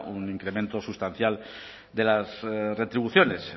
un incremento sustancial de las retribuciones